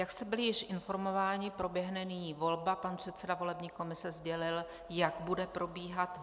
Jak jste byli již informováni, proběhne nyní volba, pan předseda volební komise sdělil, jak bude probíhat.